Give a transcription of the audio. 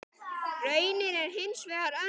Raunin er hins vegar önnur.